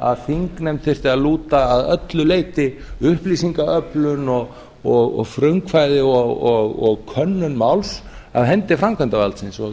að þingnefnd þyrfti að lúta að öllu leyti upplýsingaöflun og frumkvæði og könnun máls af hendi framkvæmdarvaldsins og